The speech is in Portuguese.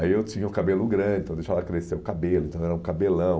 Aí eu tinha o cabelo grande, então eu deixava crescer o cabelo, então era um cabelão.